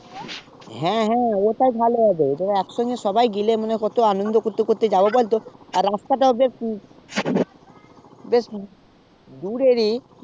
হ্যাঁ হ্যাঁ ওটাই ভালো হবে তবে একসঙ্গে সবাই গেলে মনে কত আনন্দ করতে করতে যাবো বলতো আর রাস্তা টা বেশ দূরেরই